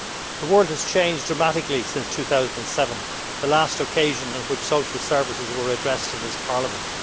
The world has changed dramatically since 2007, the last occasion on which social services were addressed in this Parliament.